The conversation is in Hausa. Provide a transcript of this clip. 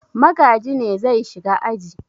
Magaji ne zai shiga aji.